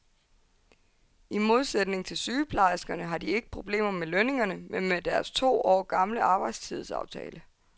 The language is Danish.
I modsætning til sygeplejerskerne har de ikke problemer med lønningerne, men med deres to år gamle arbejdstidsaftale.